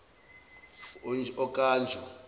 okanjo